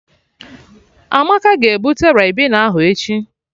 Amaka ga-ebute Ribena ahụ echi